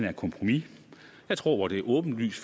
et kompromis jeg tror det er åbenlyst